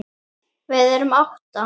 Við erum átta.